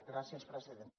gràcies presidenta